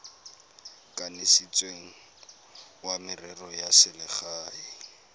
kanisitsweng wa merero ya selegae